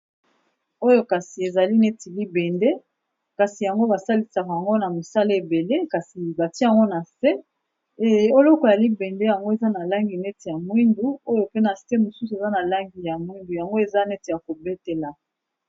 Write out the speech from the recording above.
Oyo kasi ezali neti libende kasi yango ba salisaka yango na mosala ebele kasi batie yango na se, eloko ya libende yango eza na langi neti ya mwindu oyo pe na se mosusu eza na langi ya mwindu yango eza neti ya ko betela.